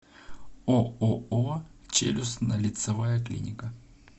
ооо челюстно лицевая клиника